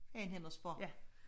Hen og spørg